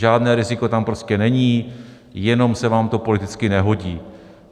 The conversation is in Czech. Žádné riziko tam prostě není, jenom se vám to politicky nehodí.